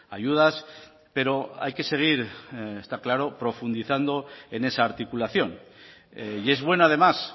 ayudas pero hay que seguir está claro profundizando en esa articulación y es bueno además